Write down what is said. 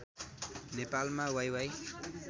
नेपालमा वाइवाइ